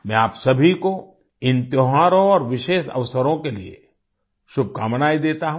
मैं आप सभी को इन त्योहारों और विशेष अवसरों के लिए शुभकामनाएँ देता हूँ